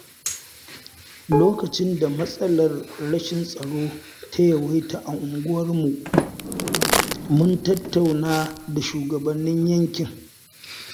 Lokacin da matsalar rashin tsaro ta yawaita a unguwarmu, mun tattauna da shugabannin yankin.